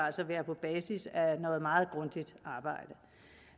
altså være på basis af noget meget grundigt arbejde